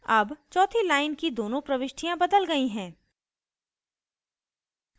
अब चौथी line की दोनों प्रविष्टियाँ बदल गयी हैं